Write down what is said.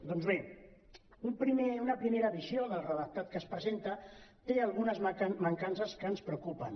doncs bé una primera visió del redactat que es presenta té algunes mancances que ens preocupen